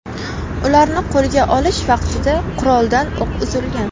Ularni qo‘lga olish vaqtida quroldan o‘q uzilgan.